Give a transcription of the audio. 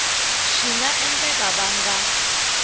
swi nga endleka va nga